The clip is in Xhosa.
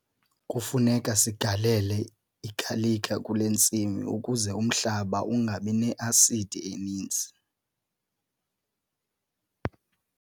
Kufuneka sigalele igalika kule ntsimi ukuze umhlaba ungabi ne-asidi eninzi.